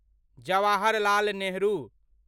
Jawaharlal Nehru